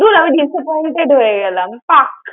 দূর আমি disappointed হয়ে গেলাম থাক।